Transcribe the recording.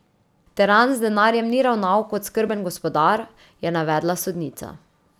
Teran z denarjem ni ravnal kot skrben gospodar, je navedla sodnica.